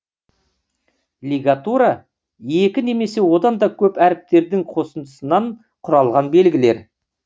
лигатура екі немесе одан да көп әріптердің қосындысынан құралған белгілер